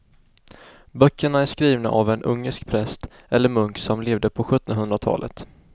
Böckerna är skrivna av en ungersk präst eller munk som levde på sjuttonhundratalet.